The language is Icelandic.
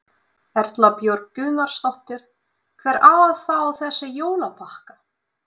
Erla Björg Gunnarsdóttir: Hver á að fá þessa jólapakka?